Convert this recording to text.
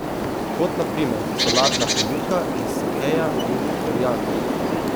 Kot na primer solatna polivka iz sakeja in koriandra.